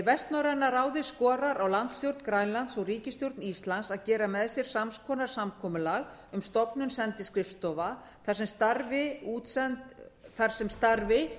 vestnorræna ráðið skorar á landsstjórn grænlands og ríkisstjórn íslands að gera með sér sams konar samkomulag um stofnun sendiskrifstofa þar sem starfi